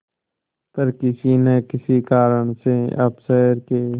पर किसी न किसी कारण से अब शहर के